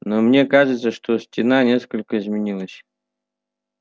но мне кажется что стена несколько изменилась